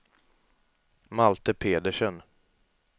Malte Pedersen